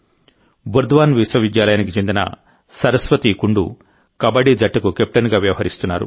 బుర్ద్వాన్ విశ్వవిద్యాలయానికి చెందిన సరస్వతి కుండూ కబడ్డీ జట్టుకు కెప్టెన్గా వ్యవహరిస్తున్నారు